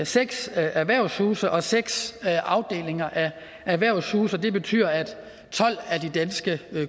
seks erhvervshuse og seks afdelinger af erhvervshuse og det betyder at tolv af de danske